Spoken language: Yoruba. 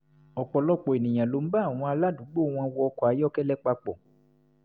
ọ̀pọ̀lọpọ̀ ènìyàn ló ń bá àwọn aládùúgbò wọn wọ ọkọ̀-ayọ́kẹ́lẹ́ papọ̀